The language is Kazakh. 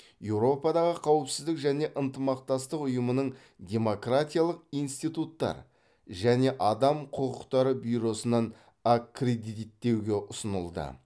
еуропадағы қауіпсіздік және ынтымақтастық ұйымының демократиялық институттар және адам құқықтары бюросынан аккредиттеуге ұсынылды